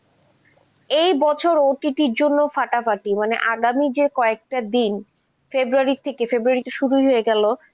এ বছর ওটিতির জন্য ফাটাফাটি, আগামী যে কয়েকটা দিন february থেকে february তো শুরুই হয়ে গেল,